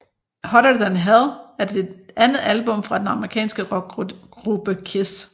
Hotter Than Hell er det andet album fra den amerikanske rockgruppe KISS